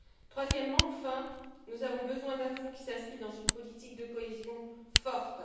Troisièmement enfin, nous avons besoin d'un fonds qui s'inscrive dans une politique de cohésion forte.